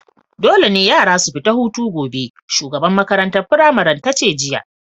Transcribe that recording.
Dole ne yara su fita hutu gobe! shugaban maƙarantan firamarin tace jiya.